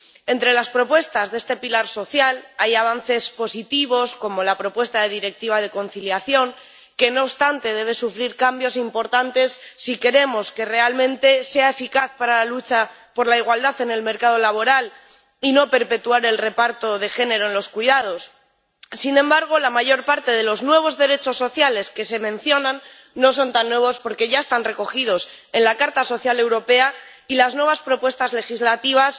Entre las propuestas de este pilar social hay avances positivos como la propuesta de Directiva sobre la conciliación que, no obstante, debe sufrir cambios importantes si queremos que realmente sea eficaz para la lucha por la igualdad en el mercado laboral y no perpetuar el reparto de género en los cuidados. Sin embargo, la mayor parte de los nuevos derechos sociales que se mencionan no son tan nuevos porque ya están recogidos en la Carta Social Europea y las nuevas propuestas legislativas